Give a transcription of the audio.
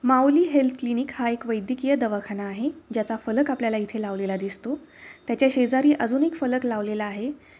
माऊली health clinic हा एक वैद्यकिय दवाखाना आहे. ज्याचा फलक आपल्याला इथे लावलेला दिसतो. त्याच्या शेजारी अजून एक फलक लावलेला आहे.